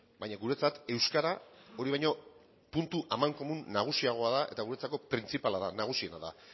baina guretzat euskara hori baino puntu amankomun nagusiagoa da eta guretzako printzipala da nagusiena da